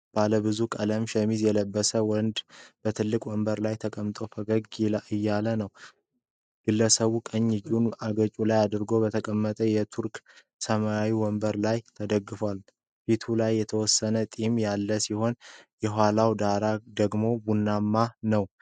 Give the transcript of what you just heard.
ባለብዙ ቀለም ሸሚዝ የለበሰ ወንድ በትልቅ ወንበር ላይ ተቀምጦ ፈገግ እያለ ነው። ግለሰቡ ቀኝ እጁን አገጩ ላይ አድርጎ በተቀመጠበት የቱርክ ሰማያዊ ወንበር ላይ ተደግፏል። ፊቱ ላይ የተወሰነ ጢም ያለ ሲሆን፣ የኋላው ዳራ ደግሞ ቡናማ ነው።